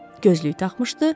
Gözlük taxmışdı,